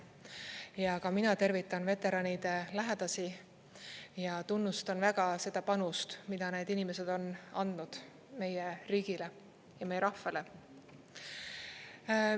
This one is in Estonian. Ja ka mina tervitan veteranide lähedasi ja tunnustan väga seda panust, mida need inimesed on andnud meie riigile ja meie rahvale.